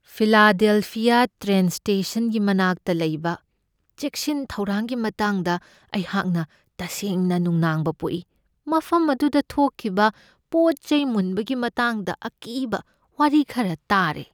Philadelphia train ꯁ꯭ꯇꯦꯁꯟꯒꯤ ꯃꯅꯥꯛꯇ ꯂꯩꯕ ꯆꯦꯛꯁꯤꯟ ꯊꯧꯔꯥꯡꯒꯤ ꯃꯇꯥꯡꯗ ꯑꯩꯍꯥꯛꯅ ꯇꯁꯦꯡꯅ ꯅꯨꯡꯅꯥꯡꯕ ꯄꯣꯛꯏ, ꯃꯐꯝ ꯑꯗꯨꯗ ꯊꯣꯛꯈꯤꯕ ꯄꯣꯠ ꯆꯩ ꯃꯨꯟꯕꯒꯤ ꯃꯇꯥꯡꯗ ꯑꯀꯤꯕ ꯋꯥꯔꯤ ꯈꯔ ꯇꯥꯔꯦ ꯫